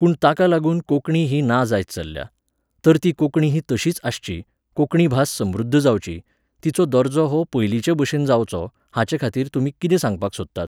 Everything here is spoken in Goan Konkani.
पूण ताका लागून कोंकणी ही ना जायत चल्ल्या. तर ती कोंकणी ही तशीच आसची, कोंकणी भास समृद्ध जावची, तिचो दर्जो हो पयलीचेभशेन जावचो, हाचेखातीर तुमी कितें सांगपाक सोदतात?